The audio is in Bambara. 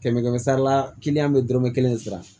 Kɛmɛ kɛmɛ sara la bɛ dɔrɔmɛ kelen sara